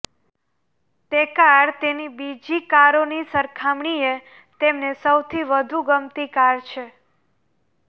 તે કાર તેની બીજી કારોની સરખામણીએ તેમને સૌથી વધુ ગમતી કાર છે